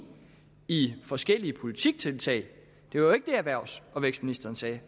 i forskellige politiktiltag det var jo ikke det erhvervs og vækstministeren sagde